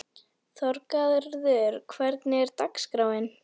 Þorgarður, hvernig er dagskráin?